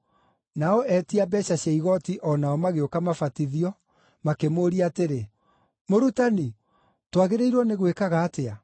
Nao etia mbeeca cia igooti o nao magĩũka mabatithio, makĩmũũria atĩrĩ, “Mũrutani, twagĩrĩirwo nĩ gwĩkaga atĩa?”